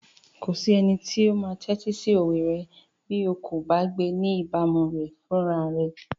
Kò sí ẹnikẹ́ni tó máa tẹ́tí sí òwe rẹ bí o kò bá gbé ní ìbámu rẹ̀ fúnra rẹ.